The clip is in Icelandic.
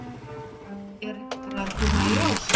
Er ekki bara að koma í ljós?